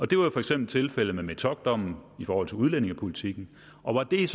det var jo for eksempel tilfældet med metockdommen i forhold til udlændingepolitikken og der